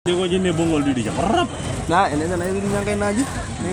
Keramati lukunguni tenkaraki imayai ongiri.